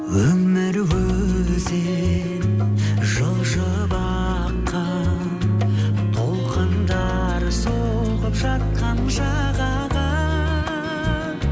өмір өзен жылжып аққан толқындары соғып жатқан жағаға